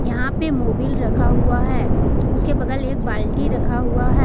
यहां पे मोबिल रखा हुआ है उसके बगल एक बाल्टी रखा हुआ है।